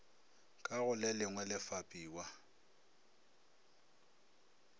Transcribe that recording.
ka go lelengwe le fapiwa